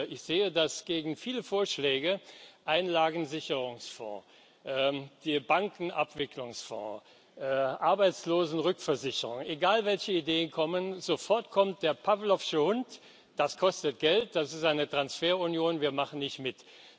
Ich sehe, dass gegen viele Vorschläge wie Einlagensicherungsfonds, Bankenabwicklungsfonds, Arbeitslosenrückversicherung egal, welche Ideen kommen sofort der pawlowsche Hund kommt Das kostet Geld, das ist eine Transferunion, wir machen nicht mit.